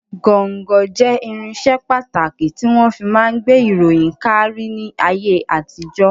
Gọ́ńgọ jẹ́ irinṣẹ́ pàtàkì tí wọ́n fi máa ń gbé ìròyìn káárí ní ayé àtijọ́.